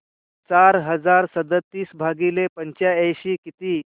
चार हजार सदतीस भागिले पंच्याऐंशी किती